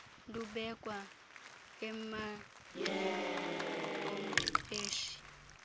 lubekwa emagxeni omqeshi